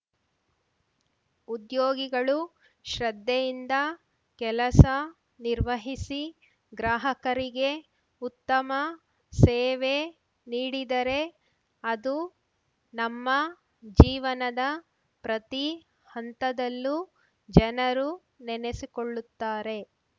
ಉದ್ಯೋಗಿಗಳು ಶ್ರದ್ಧೆಯಿಂದ ಕೆಲಸ ನಿರ್ವಹಿಸಿ ಗ್ರಾಹಕರಿಗೆ ಉತ್ತಮ ಸೇವೆ ನೀಡಿದರೆ ಅದು ನಮ್ಮ ಜೀವನದ ಪ್ರತಿ ಹಂತದಲ್ಲೂ ಜನರು ನೆನೆಸಿಕೊಳ್ಳುತ್ತಾರೆ